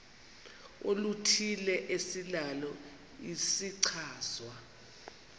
oluthile esinalo isichazwa